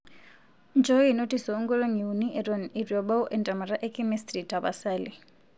njooki notis o nkolongi nuni eton eitu ebau entemataa e chemistry tapasali